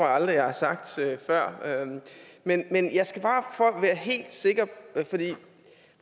aldrig jeg har sagt før men men jeg skal bare være helt sikker